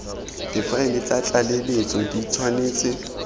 difaele tsa tlaleletso di tshwanetse